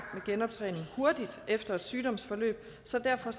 genoptræning hurtigt efter et sygdomsforløb så derfor